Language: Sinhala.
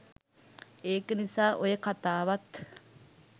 එක නිසා ඔය කතාවත්